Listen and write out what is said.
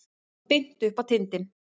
Beint upp á tindinn.